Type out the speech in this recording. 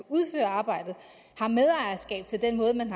udføre arbejdet har medejerskab til den måde man